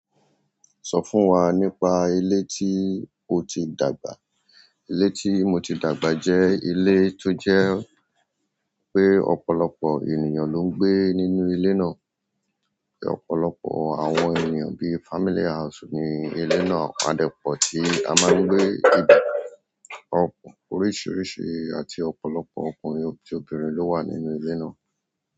Sọ fún wa nípa ilé tí o ti dàgbà. Ilé tí mo ti dàgbà jẹ́ ilé tó jẹ́ pé ọ̀pọ̀lọpọ̀ ènìyàn ló ń gbé nínú ilé náà. Ọ̀pọ̀lọpọ̀ àwọn ènìyàn bi family house ni ile náà Adẹ́pọ̀ tí a máa ń gbé ibi oríṣìíríṣìí àti ọ̀pọ̀lọpọ̀ ọkùnrin àti obìnrin ló wà nínú ilé náà.